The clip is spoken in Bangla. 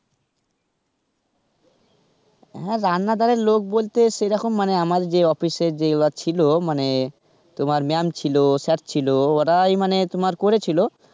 হ্যাঁ রান্না দারের লোক বলতে সেরকম মানে আমার যে office এর যে গুলা ছিল, মানে তোমার ma'am ছিল, sir ছিল ওরাই মানে তোমার করেছিল.